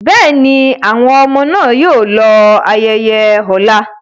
Bẹ́ẹ̀ni, àwọn ọmọ náà yóò lọ ayẹyẹ ọ̀la.